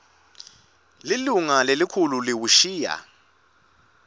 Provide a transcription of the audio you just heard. lilunga lelikhulu liwushiya